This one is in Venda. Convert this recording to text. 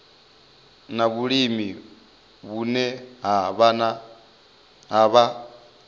na vhulimi vhune ha vha